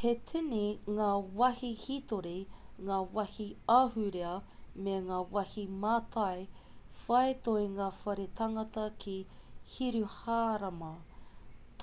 he tini ngā wāhi hītori ngā wāhi ahurea me ngā wāhi mātai whai toenga whare tangata ki hiruhārama